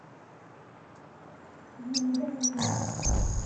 зинаида войнова